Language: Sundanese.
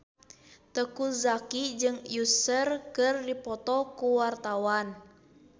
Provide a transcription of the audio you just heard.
Teuku Zacky jeung Usher keur dipoto ku wartawan